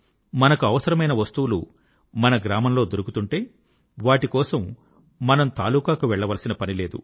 మనకు అవసరమైన వస్తువులు మన గ్రామంలో దొరుకుతుంటే వాటికోసం మనము తాలూకాకు వెళ్ళవలసిన పని లేదు